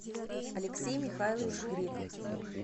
алексей михайлович греков